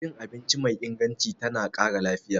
Cin abinci mai inganci tana ƙara lafiya.